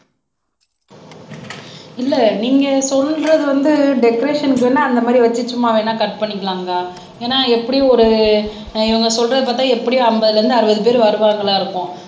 இல்ல நீங்க சொல்றது வந்து டெகரேஷன்க்கு வேணா அந்த மாதிரி வச்சு சும்மா வேணா கட் பண்ணிக்கலாங்க்கா ஏன்னா எப்படியும் ஒரு இவங்க சொல்றதே பார்த்தா எப்படியும் அம்பதுல இருந்து அறுபது பேர் வருவாங்களா இருக்கும்